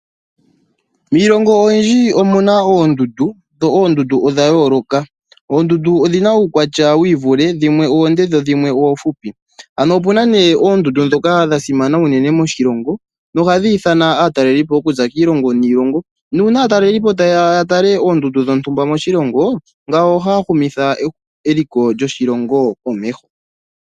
Miilongo oyindji omuna oondundu, dho oondundu odha yooloka. Oondundu odhina uukwatya wiivule, dhimwe odhile, dhimwe odhifupi. Ano opuna ne oondundu ndhoka dha simana unene moshilongo, nohadhi ithana aatalelipo okuza kiilongo niilongo, nuuna aatalelipo tayeya yatale oondundu dhontumba moshilongo, ngawo ohaya humitha eliko lyoshilongo komeho.